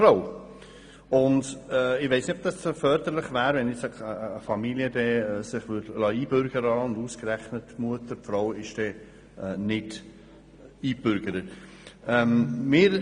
Ich weiss nicht, ob es förderlich wäre, eine Familie einzubürgern, während ausgerechnet die Mutter nicht eingebürgert würde.